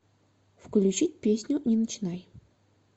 включить песню не начинай